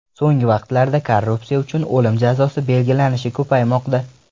So‘nggi vaqtlarda korrupsiya uchun o‘lim jazosi belgilanishi ko‘paymoqda.